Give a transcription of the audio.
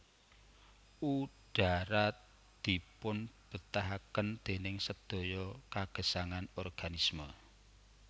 Udhara dipunbetahaken déning sedaya kagesangan organisme